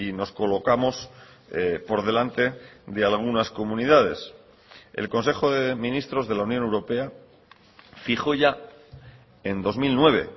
nos colocamos por delante de algunas comunidades el consejo de ministros de la unión europea fijó ya en dos mil nueve